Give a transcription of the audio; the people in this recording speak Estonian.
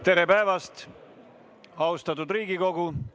Tere päevast, austatud Riigikogu!